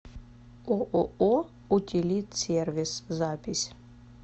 ооо утилитсервис запись